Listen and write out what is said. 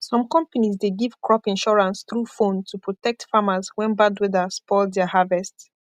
some companies dey give crop insurance through phone to protect farmers when bad weather spoil their harvest